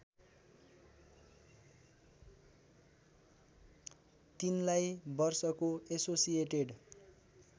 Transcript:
तिनलाई वर्षको एसोसिएटेड